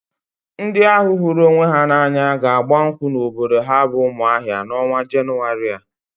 Ndị ahụ hụrụ onwe ha n'anya ga-agba nkwụ n'obodo ha bụ Umuahia n'ọnwa Jenụwarị a.